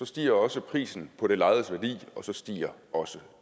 stiger også prisen på det lejedes værdi og så stiger også